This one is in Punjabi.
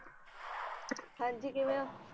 ਹਾਂਜੀ ਕਿਵੇਂ ਓ?